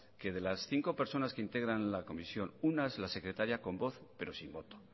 que de las cinco personas que integran la comisión una es la secretaria con voz pero sin voto